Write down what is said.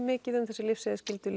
mikið af þessum lyfseðilsskyldu